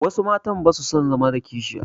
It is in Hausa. Wasu matan ba su son zama da kishiya.